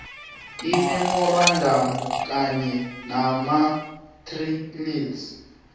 imemorandamu kanye namaarticles